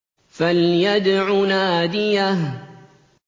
فَلْيَدْعُ نَادِيَهُ